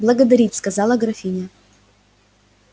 благодарить сказала графиня